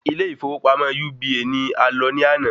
Ilé ìfọwọ́pamọ́ UBA ni a lọ ní ana